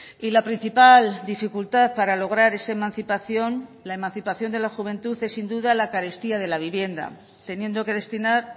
y la principal dificultad para lograr esa emancipación la emancipación de la juventud es sin duda la carestía de la vivienda teniendo que destinar